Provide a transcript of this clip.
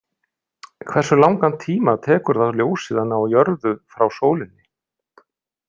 Hversu langan tíma tekur það ljósið að ná jörðu frá sólinni?